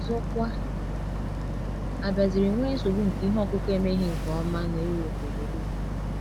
Ọzọkwa, a bịaziri nwee nsogbu nke ihe ọkụkụ emeghị nke ọma na Europe ugboro ugboro.